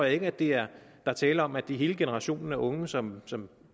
ikke at der er tale om at det er hele generationen af unge som som